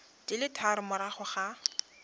di le tharo morago ga